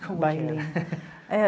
Como é que era?